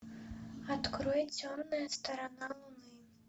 открой темная сторона луны